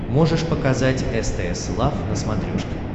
можешь показать стс лав на смотрешке